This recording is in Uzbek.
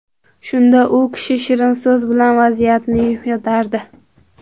Shunda u kishi shirin so‘z bilan vaziyatni yumshatardi.